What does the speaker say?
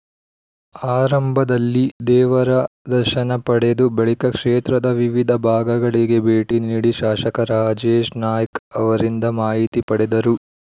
ಆರಂಭದಲ್ಲಿ ದೇವರ ದರ್ಶನ ಪಡೆದು ಬಳಿಕ ಕ್ಷೇತ್ರದ ವಿವಿಧ ಭಾಗಗಳಿಗೆ ಭೇಟಿ ನೀಡಿ ಶಾಸಕ ರಾಜೇಶ್ ನಾಯ್ಕ್ ಅವರಿಂದ ಮಾಹಿತಿ ಪಡೆದರು